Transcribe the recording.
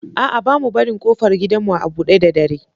A'a, ba mu barin ƙofar gidanmu a buɗe da dare.